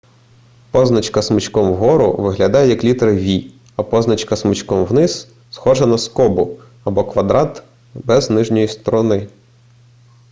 позначка смичком вгору виглядає як літера v а позначка смичком вниз схожа на скобу або квадрат без нижньої сторони